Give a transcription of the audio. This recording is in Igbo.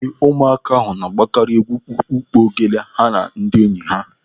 Ee, ụmụaka na-agbakari egwu kpukpukpu ogele ha na ndị enyi ha.